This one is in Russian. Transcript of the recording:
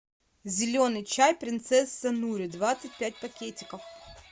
зеленый чай принцесса нури двадцать пять пакетиков